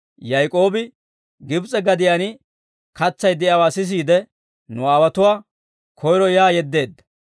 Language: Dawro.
Yaak'oobi Gibs'e gadiyaan katsay de'iyaawaa sisiide, nu aawotuwaa koyro yaa yeddeedda.